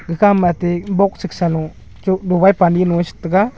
kaka mate box sik sa luk chok pani lo che tega.